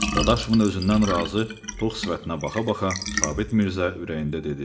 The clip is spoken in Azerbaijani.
Dadaşovun özündən razı, tox sifətinə baxa-baxa Sabit Mirzə ürəyində dedi: